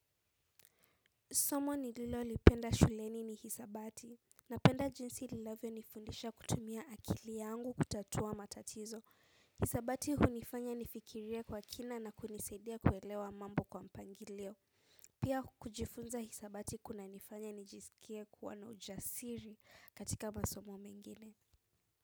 Somo ni lilo lipenda shuleni ni hisabati. Na penda jinsi linavyo nifundisha kutumia akili yangu kutatua matatizo. Hisabati hunifanya nifikirie kwa kina na kunisaidia kuelewa mambo kwa mpangilio. Pia kujifunza hisabati kuna nifanya nijisikie kuwa na ujasiri katika masomo mengine.